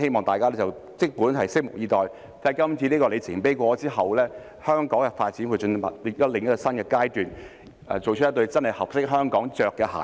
大家即管拭目以待，經過今次的里程碑之後，香港的發展會進入另一個新的階段，做出一對真的合適香港穿上的鞋子。